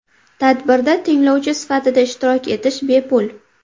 Tadbirda tinglovchi sifatida ishtirok etish bepul.